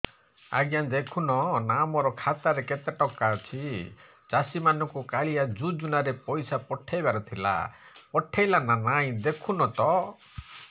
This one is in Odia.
ଆଜ୍ଞା ଦେଖୁନ ନା ମୋର ଖାତାରେ କେତେ ଟଙ୍କା ଅଛି ଚାଷୀ ମାନଙ୍କୁ କାଳିଆ ଯୁଜୁନା ରେ ପଇସା ପଠେଇବାର ଥିଲା ପଠେଇଲା ନା ନାଇଁ ଦେଖୁନ ତ